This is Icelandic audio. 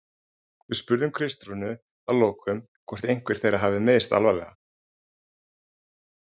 Við spurðum Kristrúnu að lokum hvort einhver þeirra hafi meiðst alvarlega?